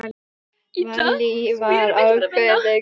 Vallý var ákveðin kona.